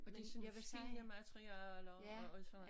Og det sådan nogen fine materialer og og sådan